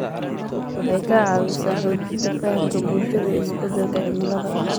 Waxay ka caawisaa xoojinta fahamka bulshada ee isbeddelka cimilada.